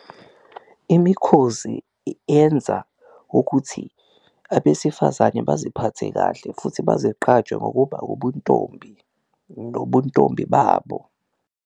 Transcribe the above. Imikhozi yenza ukuthi abesifazane baziphathe kahle futhi bazigqaje ngokuba ubuntombi nobuntombi babo.